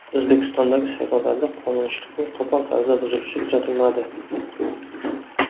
O‘zbekistondagi saylovlarda qonunchilikning qo‘pol tarzda buzilishi kuzatilmadi.